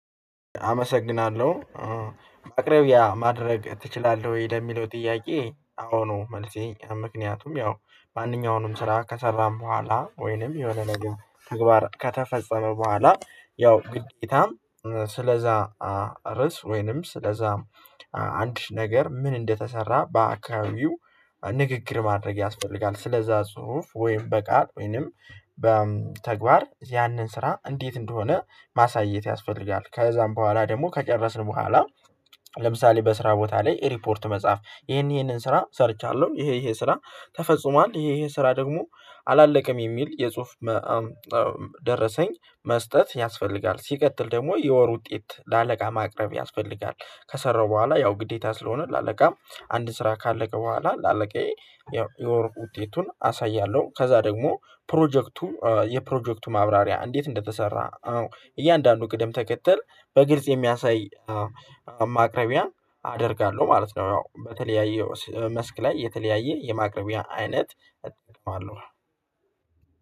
አመሰግናለሁ፤ "ማቅረቢያ ማድረግ ትችላለህ ወይ?" ለሚለው ጥያቄ፣ "አዎ" ነው መልሴ፤ ምክንያቱም ያው ማንኛውንም ስራ ከሰራን በኋላ ወይንም የወነን ነገር ተግባር ከተፈጸመ በኋላ ያው ግዴታም ስለዚያ ርዕስ ወይንም ስለዚያ አዲስ ነገር ምን እንደተሠራ በአካባቢው ንግግር ማድረግ ያስፈልጋል፤ ስለዚያ ጽሁፍ ወይም በቃል ወይም በተግባር ያንን ስራ እንዴት እንደሆነ ማሳየት ያስፈልጋል፤ ከዚያም በኋላ ደግሞ ከጨረስን በኋላ ለምሳሌ በስራ ቦታ ላይ ሪፖርት መጻፍ፣ "ይሄንን ይሄንን ስራ ሰርቻለሁ፤ ይሄ ይሄ ስራ ተፈጽሟል፤ ይሄ ይሄ ስራ ደግሞ አላለቀም" የሚል የጽሑፍ ደረሰኝ መስጠት ያስፈልጋል፤ ሲቀጥል ደግሞ የወር ውጤት ለአለቃ ማቅረብ ያስፈልጋል፤ ከሰራሁ በኋላ ያው ግዴታ ስለሆነ ለአለቃ፣ አንድ ስራ ካለቀ በኋላ ለአለቃዬ ያው የወር ውጤቱን አሳያለሁ፤ ከዚያ ደግሞ ፕሮጀክቱ የፕሮጀክቱ ማብራሪያ እንዴት እንደተሠራ እያንዳንዱ ቅደም ተከተል በግልጽ የሚያሳይ ማቅረቢያ አደርጋለሁ ማለት ነው፤ ያው በተለያየ መስክ ላይ የተለያየ የማቅረቢያ አይነት እጠቀማለሁ።